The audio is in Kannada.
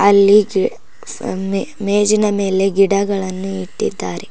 ಅಲ್ಲಿಗೆ ಸೊನ್ನೆ ಮೇಜಿನ ಮೇಲೆ ಗಿಡಗಳನ್ನು ಇಟ್ಟಿದ್ದಾರೆ.